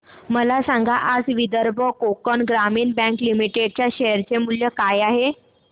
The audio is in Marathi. मला सांगा आज विदर्भ कोकण ग्रामीण बँक लिमिटेड च्या शेअर चे मूल्य काय आहे